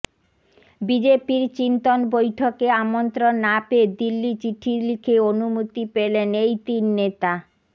বিজেপির চিন্তন বৈঠকে আমন্ত্রণ না পেয়ে দিল্লি চিঠি লিখে অনুমতি পেলেন এই তিন নেতা